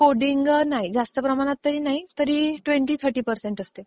Coding नाही, जास्त प्रमाणात नाही, तरी ट्वेन्टी-थर्टी पर्सेंट असते.